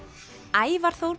Ævar Þór